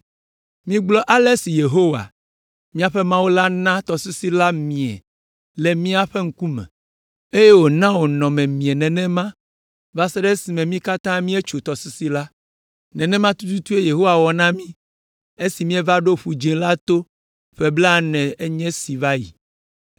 Migblɔ ale si Yehowa, míaƒe Mawu la na tɔsisi la mie le mía ŋkume, eye wòna wònɔ miemie nenema va se ɖe esime mí katã míetso tɔsisi la! Nenema tututue Yehowa wɔ na mi esi mieva ɖo Ƒu Dzĩ la to ƒe blaene nye esi va yi!